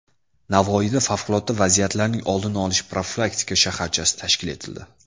Navoiyda Favqulodda vaziyatlarning oldini olish profilaktika shaharchasi tashkil etildi .